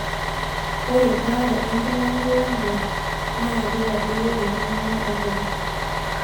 Ore baare enkilangilangare naa keitadoyio enkiminata oonkonyek.